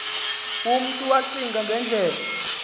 umntu wacinga ngendlela